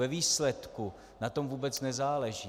Ve výsledku na tom vůbec nezáleží.